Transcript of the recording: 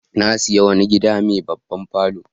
Na sayi wani gida mai babban falo.